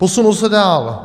Posunu se dál.